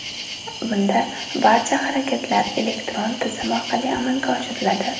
Bunda barcha harakatlar elektron tizim orqali amalga oshiriladi.